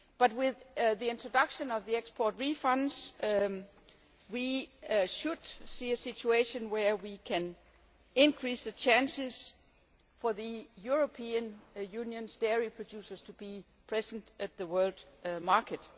With the introduction of the export refunds, however, we should see a situation where we can increase the chances for the European Union's dairy producers to be present in the world market.